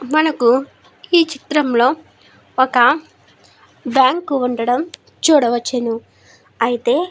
మనకు ఈ చిత్రం లో బ్యాంకు ఉండటం చూడవచ్చును. అయితే --